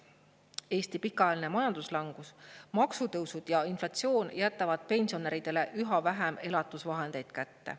Eesti pikaajaline majanduslangus, maksutõusud ja inflatsioon jätavad pensionäridele üha vähem elatusvahendeid kätte.